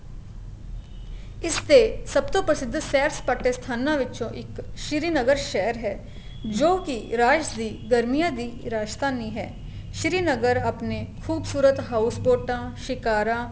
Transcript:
ਇਸ ਤੇ ਸਭ ਤੋਂ ਪ੍ਰਸਿਧ ਸੈਰ ਸਪਾਟੇ ਸਥਾਨਾ ਵਿਚੋ ਇੱਕ ਸ਼ਿਰੀਨਗਰ ਸ਼ਹਿਰ ਹੈ ਜੋ ਕੀ ਇਰਾਸ਼ ਦੀ ਗਰਮੀਆਂ ਦੀ ਰਾਜਧਾਨੀ ਹੈ ਸ਼ਿਰੀਨਗਰ ਆਪਣੇ ਖੂਬਸੂਰਤ ਹਾਉਸਪੋਟਾ ਸਿਕਾਰਾ